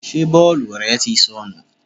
Ṣé bọ́ọ̀lù rẹ tí sọnù?